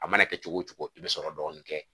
A mana kɛ cogo o cogo i bɛ sɔrɔ dɔɔni kɛ